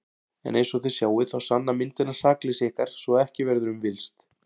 En einsog þið sjáið þá sanna myndirnar sakleysi ykkar svo að ekki verður um villst.